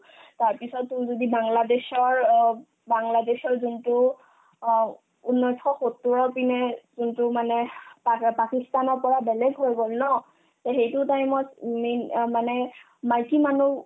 তাৰপিছত তেওঁৰ যদি বাংলাদেশৰ অ বাংলাদেশৰ যোনতো অ ঊন্নৈশ সত্তোৰৰ পিনে কিন্তু মানে পাক ~ পাকিস্তানৰ পৰা বেলেগ হৈ গ'ল ন তে সেইটো time ত উম main অ মানে মাইকী মানুহ